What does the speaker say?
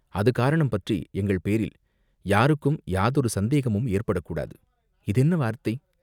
அது காரணம் பற்றி எங்கள் பேரில் யாருக்கும் யாதொரு சந்தேகமும் ஏற்படக் கூடாது, இது என்ன வார்த்தை